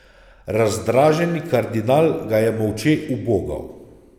Razdraženi kardinal ga je molče ubogal.